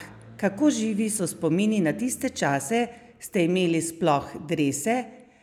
Kako živi so spomini na tiste čase, ste imeli sploh drese?